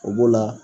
O b'o la